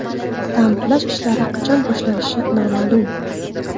Ta’mirlash ishlari qachon boshlanishi noma’lum.